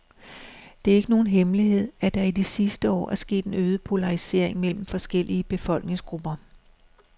Det er ikke nogen hemmelighed, at der i de sidste år er sket en øget polarisering mellem forskellige befolkningsgrupper.